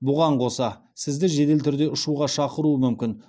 бұған қоса сізді жедел түрде ұшуға шақыруы мүмкін